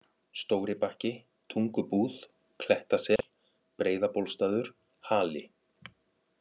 Stóri-Bakki, Tungubúð, Klettasel, Breiðabólsstaður Hali